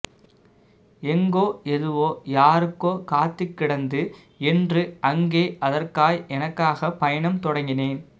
எங்கோ எதுவோ யாருக்கோ காத்துக்கிடந்தது என்று அங்கே அதற்காய் எனக்காக பயணம் தொடங்கினேன்